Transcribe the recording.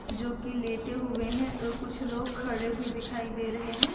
जो की लेटे हुए हैं और कुछ लोग खड़े भी दिखाई दे रहे हैं।